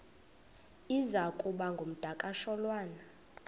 iza kuba ngumdakasholwana